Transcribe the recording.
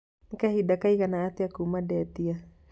nĩ kahinda kaigana atĩa kuuma ndetia